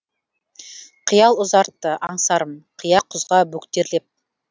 қиял ұзартты аңсарым қия құзға бөктерлеп